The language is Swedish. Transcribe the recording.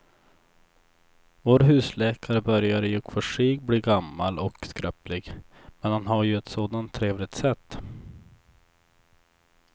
Vår husläkare börjar i och för sig bli gammal och skröplig, men han har ju ett sådant trevligt sätt!